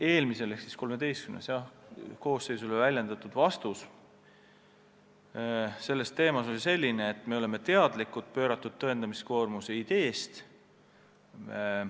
Eelmisele ehk siis XIII koosseisule antud vastus oli mul selline, et me oleme teadlikud pööratud tõendamiskoormuse ideest.